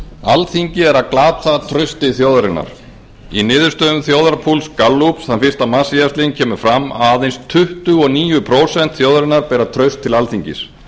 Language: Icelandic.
alþingi er að glata trausti þjóðarinnar í niðurstöðu þjóðarpúls gallups þann fyrsta mars síðastliðinn kemur fram að aðeins tuttugu og níu prósent þjóðarinnar beri traust til alþingis